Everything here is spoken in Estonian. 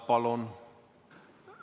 Palun!